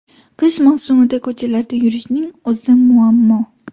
Qish mavsumida ko‘chalarda yurishning o‘zi muammo.